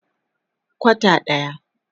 Kwata daya.